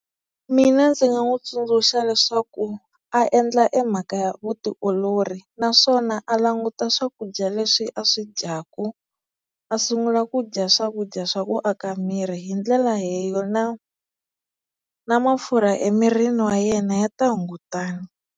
Mina ndzi nga n'wi tsundzuxa leswaku a endla e mhaka ya vutiolori naswona a languta swakudya leswi a swi dyaka a sungula ku dya swakudya swa ku aka miri hi ndlela leyo na na mafurha emirini wa yena ya ta hungutana.